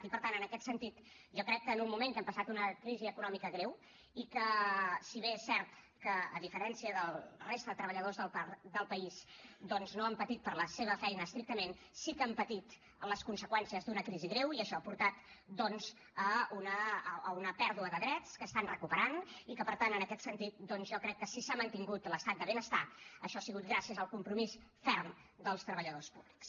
i per tant en aquest sentit jo crec que en un moment en què hem passat una crisi econòmica greu i que si bé és cert que a diferència de la resta de treballadors del país doncs no han patit per la seva feina estrictament sí que han patit les conseqüències d’una crisi greu i això ha portat doncs a una pèrdua de drets que estan recuperant i que per tant en aquest sentit jo crec que si s’ha mantingut l’estat de benestar això ha sigut gràcies al compromís ferm dels treballadors públics